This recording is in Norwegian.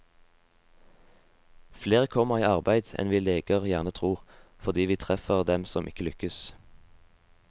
Flere kommer i arbeid enn vi leger gjerne tror, fordi vi treffer dem som ikke lykkes.